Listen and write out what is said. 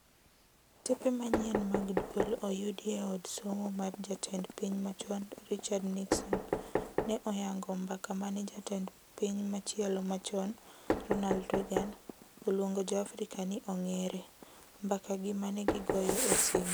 Tepe manyien mag dwol oyudi e od somo mar jatend piny machon Richard Nixon, ne oyango mbaka mane jatend piny machielo machon, Ronald Reagan, oluongo jo Afrika ni "ong'er"e mbakagi mane gigoyo e simu.